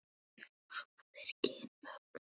Hafa þeir kynmök?